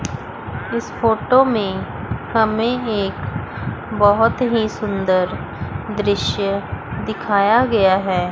इस फोटो में हमें एक बहोत ही सुंदर दृश्य दिखाया गया हैं।